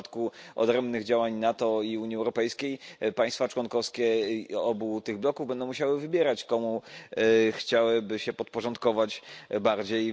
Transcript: W przypadku odrębnych działań NATO i Unii Europejskiej państwa członkowskie obu tych bloków będą musiały wybierać, komu chciałyby się podporządkować bardziej.